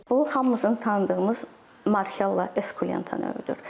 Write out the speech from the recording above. Bu hamımızın tanıdığımız Morchella Esculenta növüdür.